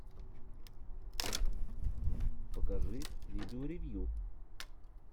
покажи видео ревью